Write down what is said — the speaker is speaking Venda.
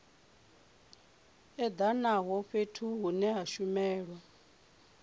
edanaho fhethu hune ha shumelwa